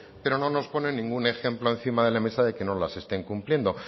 pero no nos ponen ningún ejemplo encima de la mesa de que no las estén cumpliendo